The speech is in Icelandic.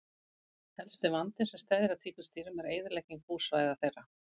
Helsti vandinn sem steðjar að tígrisdýrum er eyðilegging búsvæða þeirra.